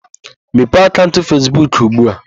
Mepee akaụnt Fesbuk ugbu a!